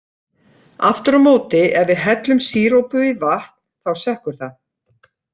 Aftur á móti ef við hellum sírópi í vatn, þá sekkur það.